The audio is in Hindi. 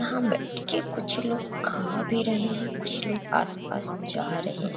यहाँ बैठ के कुछ लोग खा भी रहे हैं कुछ लोग आस-पास जा रहे हैं।